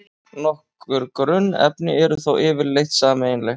Nokkur grunnefni eru þó yfirleitt sameiginleg.